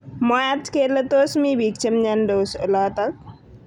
Mwaat kele tos mi bik chemnyandos olotok.